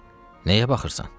nəyə baxırsan?